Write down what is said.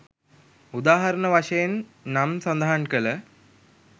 උදාහරණ වශයෙන් නම් සදහන් කල